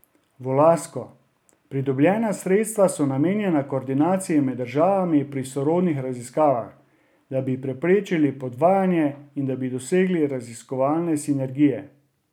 Volasko: 'Pridobljena sredstva so namenjena koordinaciji med državami pri sorodnih raziskavah, da bi preprečili podvajanje in da bi dosegli raziskovalne sinergije.